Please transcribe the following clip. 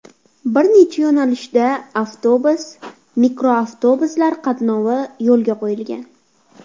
Bir necha yo‘nalishda avtobus, mikroavtobuslar qatnovi yo‘lga qo‘yilgan.